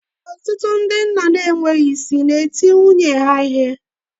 Ọtụtụ ndị nna na-enweghị isi na-eti nwunye ha ihe